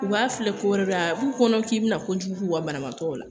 U b'a filɛ ko wɛrɛ de, a b'u kɔnɔ k'i bina kojugu k'u ka banabagatɔ la